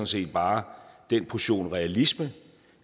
set bare den portion realisme